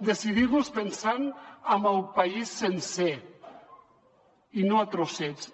decidir los pensant en el país sencer i no a trossets